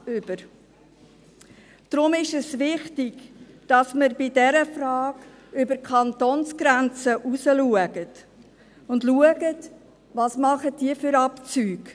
Deshalb ist es wichtig, dass wir bei dieser Frage über die Kantonsgrenzen hinausblicken und schauen, welche Abzüge diese vornehmen.